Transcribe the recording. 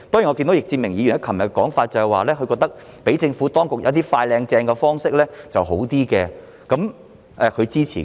易志明議員昨天的說法是，他覺得讓政府當局使用一些"快、靚、正"的方式較好，他支持這樣做。